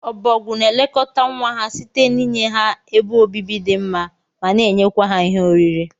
Obogwu na elekọta nwa ha site n'inye ha ebe obibi di mma mana enyekwa ha ihe oriri.